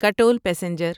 Katol passenger